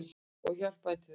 Ég hjálpaði þeim til þess.